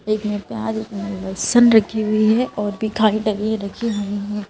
एक में प्याज़ लहसुन रखी हुई है और भी खाली डली रखी हुई हैं।